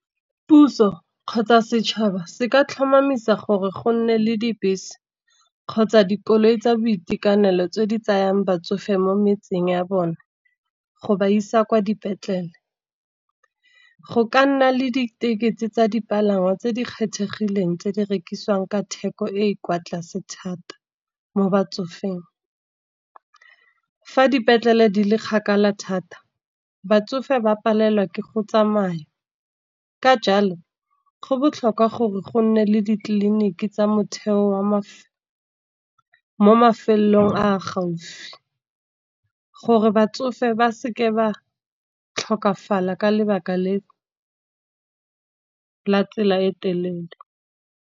Puso kgotsa setšhaba se ka tlhomamisa gore go nne le dibese, kgotsa dikoloi tsa boitekanelo tse di tsayang batsofe mo metseng ya bone go ba isa kwa dipetlele. Go ka nna le ditekesi tsa dipalangwa tse di kgethegileng, tse di rekisiwang ka theko e kwa tlase thata mo batsofeng. Fa dipetlele di le kgakala thata, batsofe ba palelwa ke go tsamaya ka jalo go botlhokwa gore go nne le ditleliniki tsa motheo mo mafelong a a gaufi, gore batsofe ba seke ba tlhokafala ka lebaka la tsela e telele.